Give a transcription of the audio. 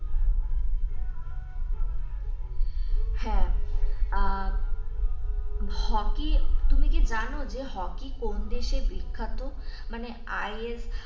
হ্যাঁ আহ হকি তুমি কি যেন হকি কোন দেশে বিখ্যাত মানে ,